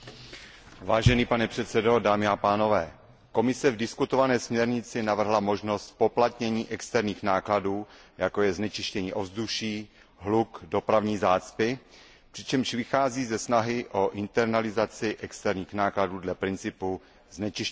Pane předsedající, Komise v diskutované směrnici navrhla možnost zpoplatnění externích nákladů, jako je znečištění ovzduší, hluk, dopravní zácpy, přičemž vychází ze snahy o internalizaci externích nákladů dle principu znečišťovatel platí.